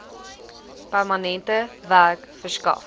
permanente werk verskaf